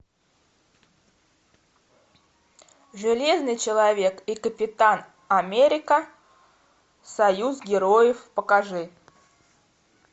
железный человек и капитан америка союз героев покажи